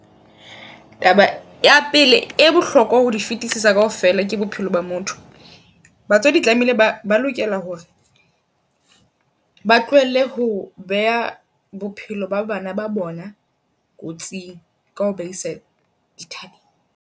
Taba ya pele, e bohlokwa ho di fitisisa kaofela ke bophelo ba motho. Batswadi tlamehile ba ba lokela hore ba tlohelle ho beha bophelo ba bana ba bona kotsing ka ho baisa dithabeng.